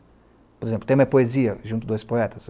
Por exemplo, o tema é poesia, junto dois poetas.